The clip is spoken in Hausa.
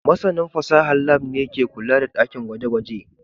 Masanin fasahar Lab ne ke kula da dakin gwaje-gwaje